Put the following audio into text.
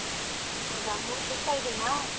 ಹೌದಾ ಮೂರ್ದಿವಸಾ ಇದೇನಾ?